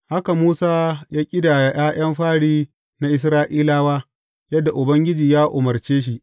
Haka Musa ya ƙidaya ’ya’yan fari na Isra’ilawa, yadda Ubangiji ya umarce shi.